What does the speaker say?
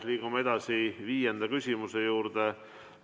Liigume edasi viienda küsimuse juurde.